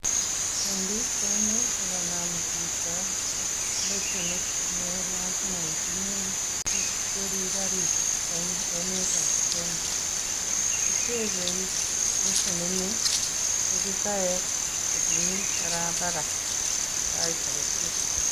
Eng pikchaini ko kanam chito lesenit ne lazima itinye sikweri kari eng emetap Kenya. Kitebe lesenini ofisaek chemi barabara eng sait aketukul.